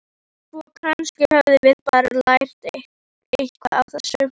Svo kannski höfum við bara lært eitthvað á þessu.